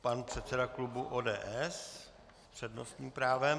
Pan předseda klubu ODS s přednostním právem.